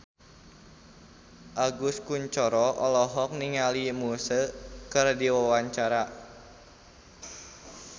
Agus Kuncoro olohok ningali Muse keur diwawancara